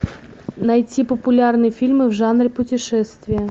найти популярные фильмы в жанре путешествия